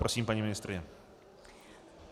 Prosím, paní ministryně.